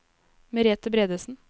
Merethe Bredesen